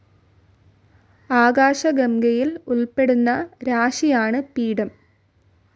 ആകാശഗംഗയിൽ ഉൾപ്പെടുന്ന രാശിയാണ് പീഠം.